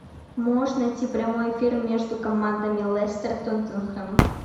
можешь найти прямой эфир между командами лестер тоттенхэм